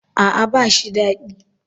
A'a ba shi dadi.